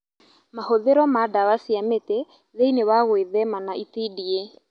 Mahũthĩro ma ndawa cia mĩtĩ thĩinĩ wa gwĩthema na itindiĩ